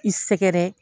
I sɛgɛrɛ